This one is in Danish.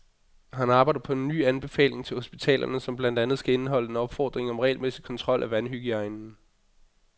Han arbejder på en ny anbefaling til hospitalerne, som blandt andet skal indeholde en opfordring om regelmæssig kontrol af vandhygiejnen.